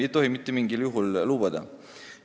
Seda ei tohi mitte mingil juhul lubada.